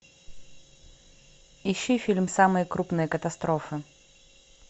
ищи фильм самые крупные катастрофы